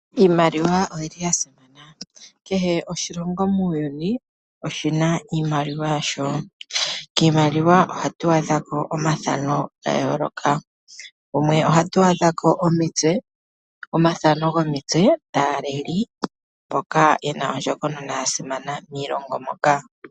Iimaliwa oyili ya simana kehe oshilongo muuyuni oshina iimaliwa yasho kiimaliwa ohatu adha ko omathano ga yooloka yimwe ohatu adha omitse dhaaleli mboka yena ondjokonona moshilongo moka.